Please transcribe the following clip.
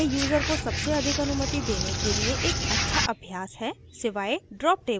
यह यूजर को सबसे अधिक अनुमति देने के लिए एक अच्छा अभ्यास है सिवाय drop tables को छोडकर